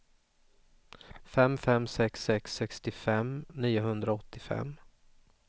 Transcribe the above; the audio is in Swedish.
fem fem sex sex sextiofem niohundraåttiofem